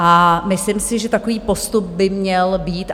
A myslím si, že takový postup by měl být.